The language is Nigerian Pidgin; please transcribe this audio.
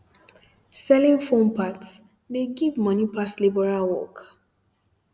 selling phone parts de give moni pass labourer work um